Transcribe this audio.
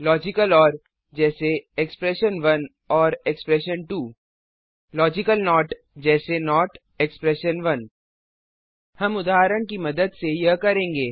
logical or जैसे expression one or expression two logical not जैसे not हम उदाहरण की मदद से यह करेंगे